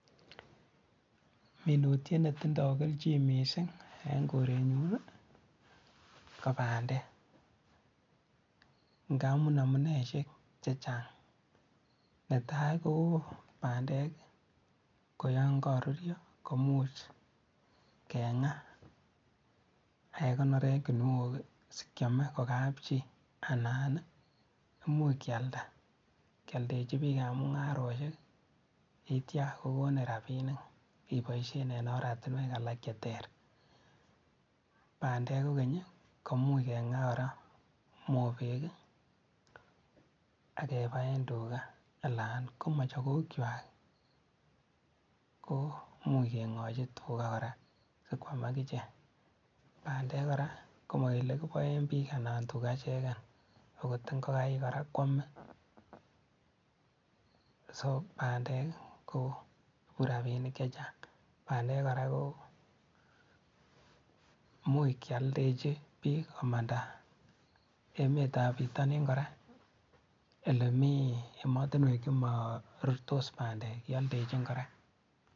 Minutiet netindoo kelchin mising en kirenyun ko bandek ng'amun amuneishek chechang, netaii ko bandek koyoon koruryo komuuch keng'aa ak kekonor en kinuok sikiome ko kapchii anan imuuch kialda kioldechi biikab mung'aroishek yeityo kokonin rabinik iboishen en oratinwek alak cheter, bandek kokeny komuch keng'aa kora mobeek akebaen tukaa alaan ko mochokok kwak ko imuuch keng'ochi tukaa kora sikwaam akichek, bandek kora ko mokelee kiboen biik anan tukaa ichekeen akot ing'okik kora kwomee, soo bandek koikuu rabinik chechang, bandek kora ko imuuch kioldechi biik komanda emetab bitonin kora elemii emotinwek chemorurtos bandek kioldechin kora.